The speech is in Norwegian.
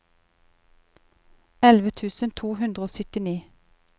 elleve tusen to hundre og syttini